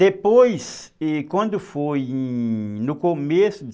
Depois, e, quando foi no começo de,